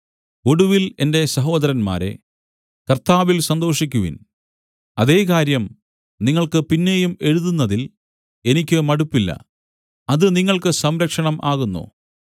ഒടുവിൽ എന്റെ സഹോദരന്മാരേ കർത്താവിൽ സന്തോഷിക്കുവിൻ അതേ കാര്യം നിങ്ങൾക്ക് പിന്നെയും എഴുതുന്നതിൽ എനിക്ക് മടുപ്പില്ല അത് നിങ്ങൾക്ക് സംരക്ഷണം ആകുന്നു